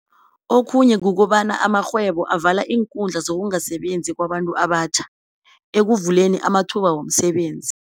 Okhunye kukobana amarhwebo avala iinkhundla zokungasebenzi kwabantu abatjha, ekukuvuleni amathuba womsebenzi.